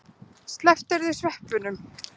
Slepptirðu sveppunum?